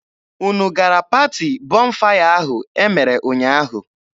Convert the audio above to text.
Unu gara paati Bọnfaya ahụ e mere ụnyaahụ.